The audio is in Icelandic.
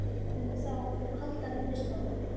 Við mundum þá halda vinnustofu